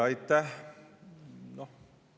Aitäh!